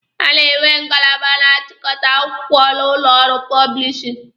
A na-enwe ngalaba na-achịkọta akwụkwọ n'ụlọ ọrụ pọblishin.